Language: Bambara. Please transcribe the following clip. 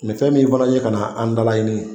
Mɛ fɛn min fɛnɛ ye ka na an dalaɲini